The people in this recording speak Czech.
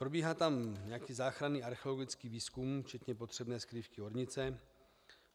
Probíhá tam nějaký záchranný archeologický výzkum, včetně potřebné skrývky ornice.